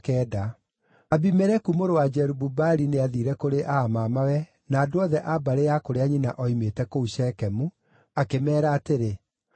Abimeleku mũrũ wa Jerubu-Baali nĩathiire kũrĩ aa mamawe na andũ othe a mbarĩ ya kũrĩa nyina oimĩte kũu Shekemu, akĩmeera atĩrĩ,